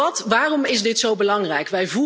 Want waarom is dit zo belangrijk?